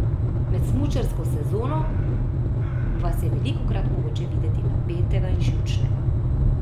Med smučarsko sezono vas je velikokrat mogoče videti napetega in živčnega.